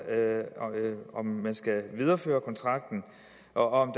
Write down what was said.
om hvorvidt man skal videreføre kontrakten og